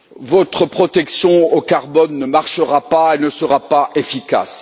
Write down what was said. Votre protection au carbone ne marchera pas et ne sera pas efficace.